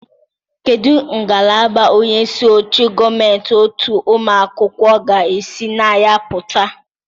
Kedu ngalaba onye isi oche gọọmentị otu ụmụ akwụkwọ ga-esi na ya pụta?